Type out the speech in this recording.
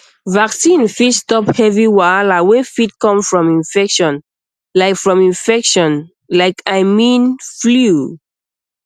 vaccine fit stop heavy wahala wey fit come from infection like from infection like i mean flu